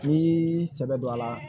N'i sɛbɛ don a la